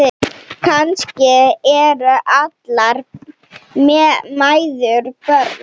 Kannski eru allar mæður börn.